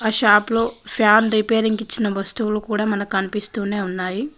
Shop లో fan repairing కి ఇచ్చిన వస్తువులు కూడా మనకు కనిపిస్తూనే ఉన్నాయి.